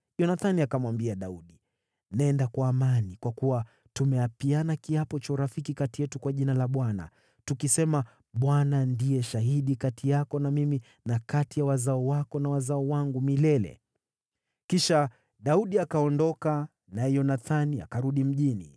Yonathani akamwambia Daudi, “Nenda kwa amani, kwa kuwa tumeapiana kiapo cha urafiki kati yetu kwa jina la Bwana , tukisema, ‘ Bwana ndiye shahidi kati yako na mimi, na kati ya wazao wako na wazao wangu milele.’ ” Kisha Daudi akaondoka, naye Yonathani akarudi mjini.